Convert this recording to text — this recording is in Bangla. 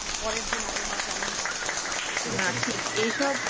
পরের দিন আবহাওয়া কেমন থাকবে